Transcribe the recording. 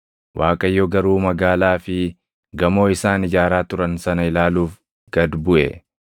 Waaqayyo garuu magaalaa fi gamoo isaan ijaaraa turan sana ilaaluuf gad buʼe.